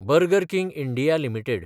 burger King India limited